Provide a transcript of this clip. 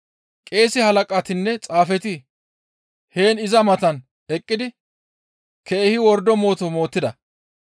Qeese halaqatinne xaafeti heen iza matan eqqidi keehi wordo mooto mootida.